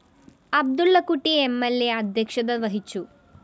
അബ്ദുളളക്കുട്ടി എം ൽ അ അധ്യക്ഷത വഹിച്ചു